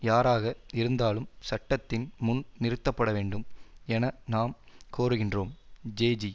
யாராக இருந்தாலும் சட்டத்தின் முன் நிறுத்தப்பட வேண்டும் என நாம் கோருகின்றோம் ஜேஜி